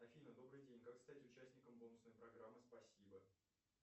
афина добрый день как стать участником бонусной программы спасибо